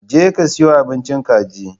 Je ka siyo abincin kaji!